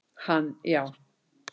Hann já.